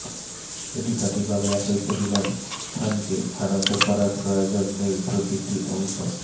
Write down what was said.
এটি সঠিকভাবে একই পরিমাণ স্থানকে স্থানান্তর করার প্রয়োজন নেই প্রতিটি অংশ